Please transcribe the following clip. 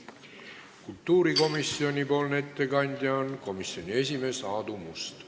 Kultuurikomisjoni ettekandja on komisjoni esimees Aadu Must.